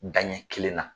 Danɲɛ kelen na